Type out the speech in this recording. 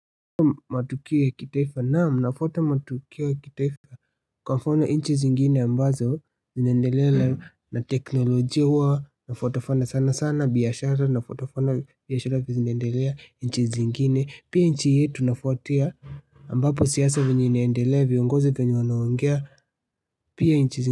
Matukio ya kitaifa. Naam nafuta matukio ya kitaifa kwa mfano nchi zingine ambazo zinaendelea na teknolojia huwa nafuata fuata sanasana biashara nafuata fuata vile biashara inaendelea nchi zingine. Pia nchi yetu nafuatia ambapo siasa vile inaendelea viongozi vile wanaongea pia nchi zingine.